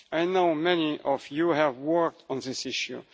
I know that many of you have worked on this issue.